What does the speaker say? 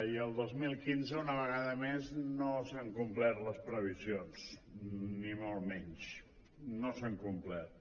i el dos mil quinze una vegada més no s’han complert les previsions ni molt menys no s’han complert